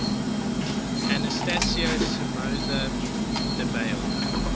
anastasio somoza debayle